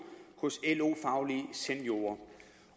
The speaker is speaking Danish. hos lo faglige seniorer